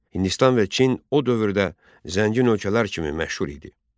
Hindistan və Çin o dövrdə zəngin ölkələr kimi məşhur idi.